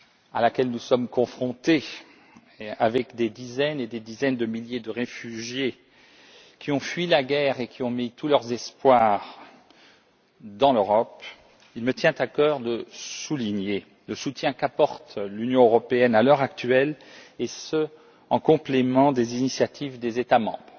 à laquelle nous sommes confrontés et compte tenu des dizaines et des dizaines de milliers de réfugiés qui ont fui la guerre et ont mis tous leurs espoirs dans l'Europe, il me tient à cœur de souligner le soutien qu'apporte l'Union européenne à l'heure actuelle, et ce en complément des initiatives des États membres.